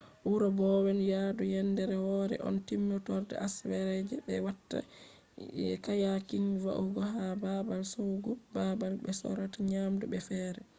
wuro bowen yaadu yendere wore on ko timmorde asawere je be watta kayaking va’ugo ka’e babal shoggu babal be sorrata nyamdu be fere